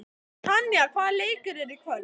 Tanja, hvaða leikir eru í kvöld?